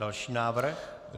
Další návrh.